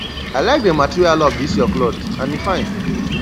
i like the material of dis your cloth and e fine